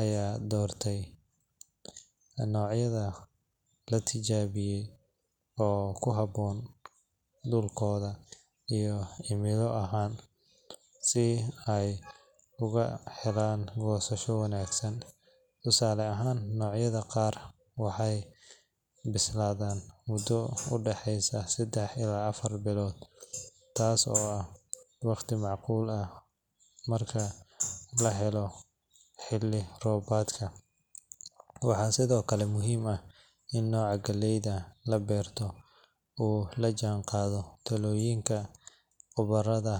ayaa doortay noocyada la tijaabiyey oo ku habboon dhulkooda iyo cimilo ahaan, si ay uga helaan goosasho wanaagsan. Tusaale ahaan, noocyada qaar waxay bislaadaan muddo u dhexeysa saddex iyo afar bilood, taasoo ah waqti macquul ah marka la eego xilli roobaadka. Waxaa sidoo kale muhiim ah in nooca galleda la doorto uu la jaanqaado talooyinka khubarada.